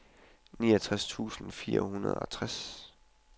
otteogtres tusind og fireoghalvtreds